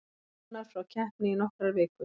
Rúnar frá keppni í nokkrar vikur